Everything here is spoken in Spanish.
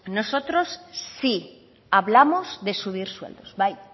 nosotros sí hablamos de subir sueldos bai